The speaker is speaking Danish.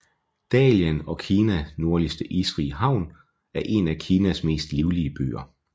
Dalian har Kinas nordligste isfrie havn og er en af Kinas mest livlige byer